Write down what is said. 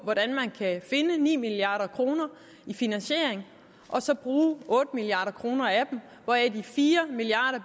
hvordan man kan finde ni milliard kroner i finansiering og så bruge otte milliard kroner af dem hvoraf de fire milliard